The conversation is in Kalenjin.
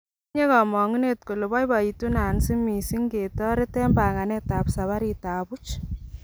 Otinye komong'unet kole boiboitu Nancy mising' ngetoret en banganet ab safarit ab buch.